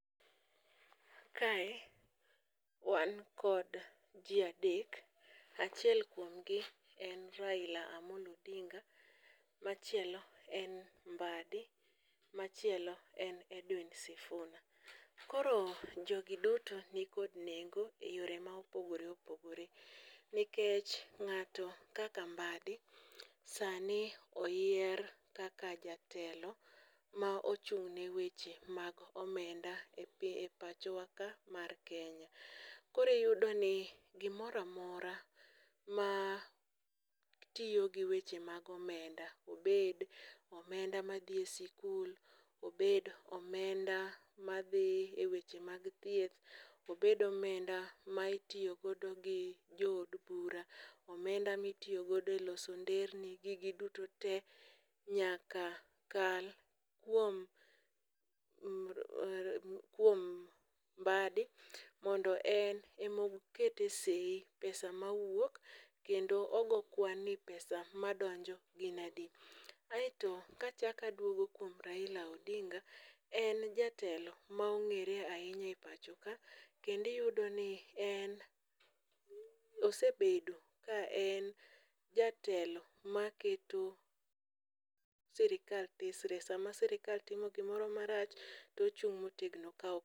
Kae wan kod ji adek ,achiel kuomgi en Raila Amollo Odinga, machielo en Mbaddi, machielo en Edwin Sifuna. koro jogi duto nikod nengo e yore ma opogore opogore nikech ng'ato kaka Mbaddi sani oyier kaka jatelo ma ochung' ne weche mag omenda e pachowaka mar Kenya. Koro iyudo ni gimoro amora ma tiyo gi weche mag omenda, obed omenda ma dhi e sikul, obed omenda madhi e weche mag thieth, obed omenda ma itiyo godo gi jood bura, omenda mitiyo godo e loso nderni, gigi duto te nyaka kal kuom Mbaddi mondo en emo kete sei pesa mawuok kendo ogo kwan ni pesa madonjo gin adi. aeto kachako adwogo kuom Raila Odinga, en jatelo ma ong'ere ahinya e pacho ka kendo iyudoni en osebedo ka en jatelo maketo sirikal tesre, sama sirikal timo gimoro marach to ochung' motegno ka.